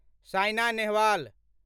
Saina Nehwal